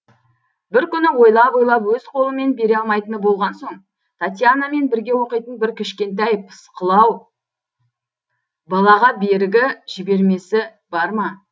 бір күні ойлап ойлап өз қолымен бере алмайтын болған соң татьянамен бірге оқитын бір кішкентай пысықылау балаға берігі жібермесі бар ма